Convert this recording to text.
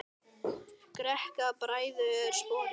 Greikka bræður sporið.